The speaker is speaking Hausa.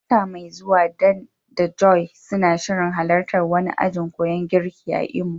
Wata mai zuwa, Dan da Joy suna shirin halartar wani ajin koyan girki a Imo.